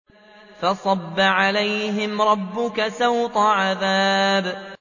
فَصَبَّ عَلَيْهِمْ رَبُّكَ سَوْطَ عَذَابٍ